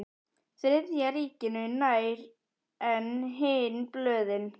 Þriðja ríkinu nær en hin blöðin.